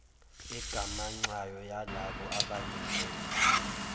egamanxayo yalabo abanikelayo